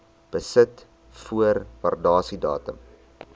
besit voor waardasiedatum